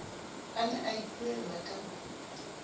a ne a ipuella ka